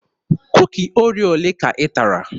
Kuki Oreo olee ka ị tara?